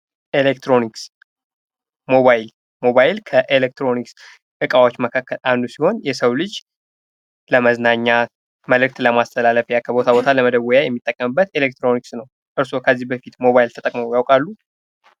ኤሌክትሮኒክስ ሞባይል። ሞባይል ከኤሌክትሮኒክስ ዕቃዎች መካከል አንዱ ሲሆን የሰው ልጅ ለመዝናኛ ፣መልዕክት ለማስተላለፍያ፣ ከቦታ ቦታ ለመደወያ የሚጠቀምበት ኤሌክትሮኒክስ ነው ።እርሶ ከዚህ በፊት ሞባይል ተጠቅሞ ያውቃሉ?